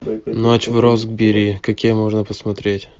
ночь в роксбери какие можно посмотреть